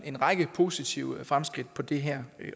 en række positive fremskridt på det her